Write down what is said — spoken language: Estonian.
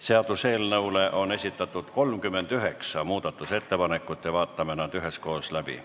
Seaduseelnõu kohta on esitatud 39 muudatusettepanekut, vaatame nad üheskoos läbi.